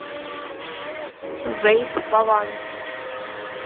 вэйх ваван